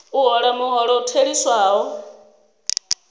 a hola muholo u theliswaho